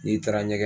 N'i taara ɲɛgɛn